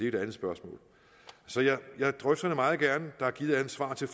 et andet spørgsmål så jeg drøfter det meget gerne der er givet alle svar til